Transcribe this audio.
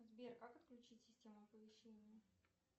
сбер как отключить систему оповещений